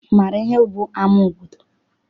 Ị maara ihe bụ ama obodo?